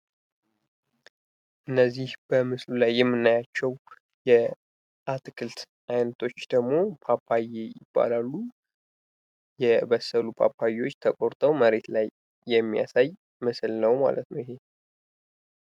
እነዚህ በምስሉ ላይ የምናያቸው የአትክልት አይነቶች ደግሞ ፓፓየ ይባላሉ። የበሰሉ ፓፓያዎች ተቆርጠው መሬት ላይ የሚያሳይ ምስል ነው ማለት ነው።